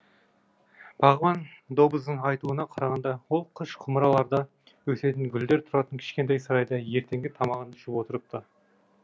бағбан доббздың айтуына қарағанда ол қыш құмыраларда өсетін гүлдер тұратын кішкентай сарайда ертеңгі тамағын ішіп отырыпты